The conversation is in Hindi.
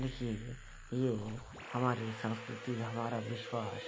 देखिए ये हमारी संस्कृति हमारा विश्वास --